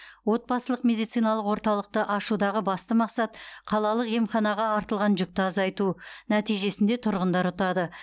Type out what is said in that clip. отбасылық медициналық орталықты ашудағы басты мақсат қалалық емханаға артылған жүкті азайту нәтижесінде тұрғындар ұтады